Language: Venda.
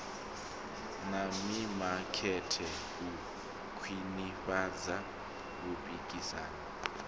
na mimakete u khwinifhadza vhupikisani